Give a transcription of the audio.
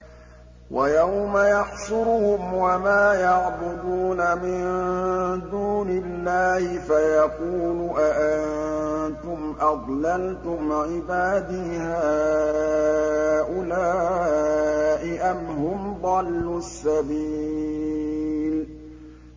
وَيَوْمَ يَحْشُرُهُمْ وَمَا يَعْبُدُونَ مِن دُونِ اللَّهِ فَيَقُولُ أَأَنتُمْ أَضْلَلْتُمْ عِبَادِي هَٰؤُلَاءِ أَمْ هُمْ ضَلُّوا السَّبِيلَ